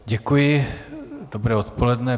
Děkuji, dobré odpoledne.